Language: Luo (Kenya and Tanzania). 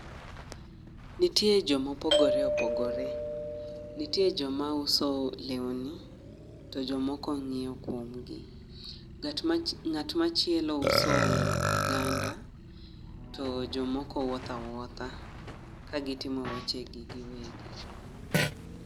Nitie ji mopogore opogore. Nitie joma uso lewni, to jomoko ng'iewo kuom gi. Ng'at machielo uso ohganda to jomoko wuotho awuotha ka gitimo weche gi giwegi.